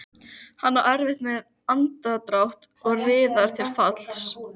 Hann á erfitt um andardrátt og riðar til falls.